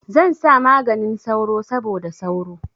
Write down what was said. Zan sa maganin sauro saboda sauro.